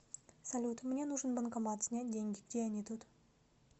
салют мне нужен банкомат снять деньги где они тут